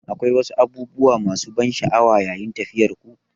Shin akwai wasu abubuwa masu ban sha'awa yayin tafiyarku?